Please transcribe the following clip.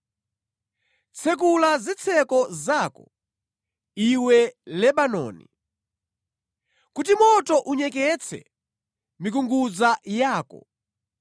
Tsekula zitseko zako, iwe Lebanoni, kuti moto unyeketse mikungudza yako!